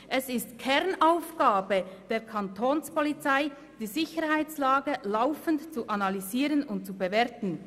Es ist die Kernaufgabe der Kantonspolizei, die Sicherheitslage laufend zu analysieren und zu bewerten.»